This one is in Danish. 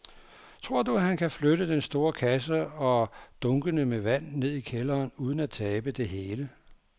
Tror du, at han kan flytte den store kasse og dunkene med vand ned i kælderen uden at tabe det hele?